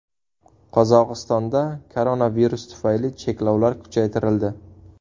Qozog‘istonda koronavirus tufayli cheklovlar kuchaytirildi.